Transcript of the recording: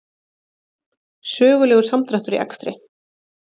Sögulegur samdráttur í akstri